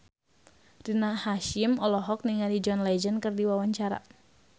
Rina Hasyim olohok ningali John Legend keur diwawancara